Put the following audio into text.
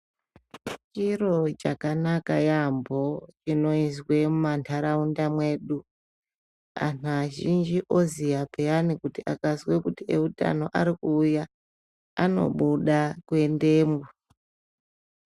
Chiro chakanaka yaambo chinoizwe mumantaraunda mwedu antu azhinji oziya peyani kuti akazwe kuti eutano arikuuya anobuda kuendeyo.